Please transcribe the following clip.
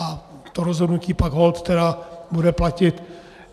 A to rozhodnutí pak holt teda bude platit.